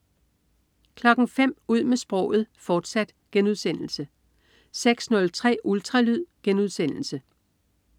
05.00 Ud med sproget, fortsat* 06.03 Ultralyd*